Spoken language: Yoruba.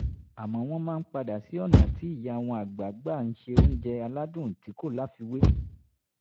àmọ́ wọ́n máa ń padà sí ọ̀nà tí ìyá wọn àgbà gbà ń se oúnjẹ aládùn tí kò láfiwé